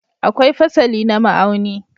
Akwai fasali na ma'auni.